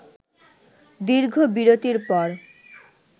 দীর্ঘ বিরতির পর